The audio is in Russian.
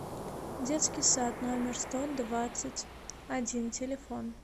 детский сад номер сто двадцать один телефон